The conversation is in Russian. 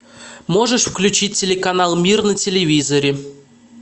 можешь включить телеканал мир на телевизоре